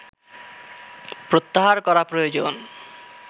প্রত্যাহার করা প্রয়োজন